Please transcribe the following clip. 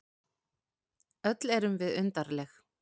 Öll erum við undarleg.